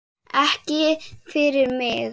Ekki fyrir mig!